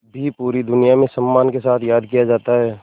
भी पूरी दुनिया में सम्मान के साथ याद किया जाता है